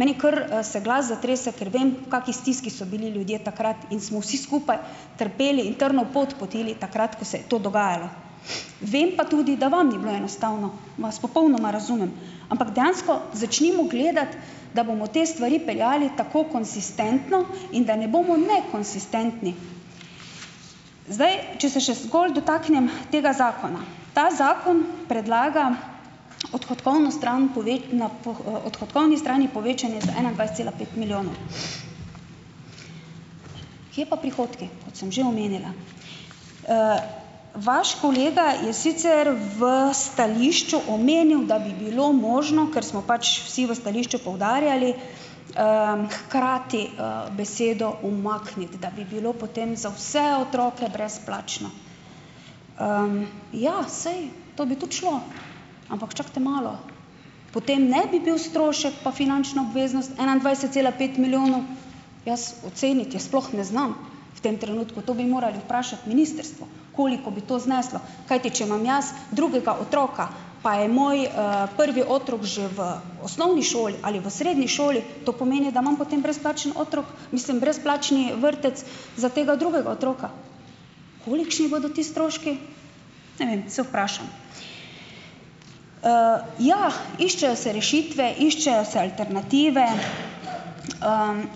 Meni kar, se glas zatrese, ker vem v kaki stiski so bili ljudje takrat in smo vsi skupaj trpeli in trnov pot potili takrat, ko se je to dogajalo. Vem pa tudi, da vam ni bilo enostavno, vas popolnoma razumem. Ampak dejansko začnimo gledati, da bomo te stvari peljali tako konsistentno in da ne bomo nekonsistentni. Zdaj, če se še zgolj dotaknem tega zakona. Ta zakon predlaga odhodkovno stran pove, na poh, odhodkovni strani povečanje za enaindvajset cela pet milijonov. Kje pa prihodki? Kdo sem že omenila. Vaš kolega je sicer v stališču omenil, da bi bilo možno, ker smo pač vsi v stališču poudarjali, hkrati, besedo umakniti, da bi bilo potem za vse otroke brezplačno. Ja, saj to bi tudi šlo, ampak čakajte malo. Potem ne bi bil strošek pa finančna obveznost enaindvajset cela pet milijonov, jaz oceniti je sploh ne znam v tem trenutku. To bi morali vprašati ministrstvo, koliko bi to zneslo, kajti če imam jaz drugega otroka pa je moj, prvi otrok že v osnovni šoli ali v srednji šoli to pomeni, da imam potem brezplačni otrok, mislim brezplačni, vrtec za tega drugega otroka. Kolikšni bodo ti stroški? Ne vem, se vprašam. Ja, iščejo se rešitve, iščejo se alternative,